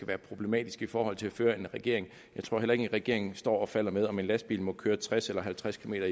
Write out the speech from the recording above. være problematisk i forhold til at føre en regering jeg tror heller ikke at en regering står og falder med om en lastbil må køre tres eller halvtreds kilometer